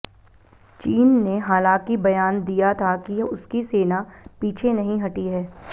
चीन ने हालांकि बयान दिया था कि उसकी सेना पीछे नहीं हटी है